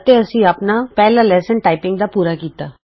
ਅਤੇ ਅਸੀਂ ਆਪਣਾ ਪਹਿਲਾ ਟਾਈਪਿੰਗ ਲੈਸਨ ਪੂਰਾ ਕੀਤਾ